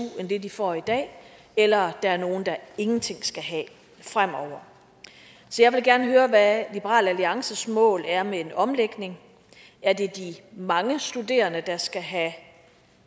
end det de får i dag eller at der er nogle der ingenting skal have fremover så jeg vil gerne høre hvad liberal alliances mål er med en omlægning er det de mange studerende der skal have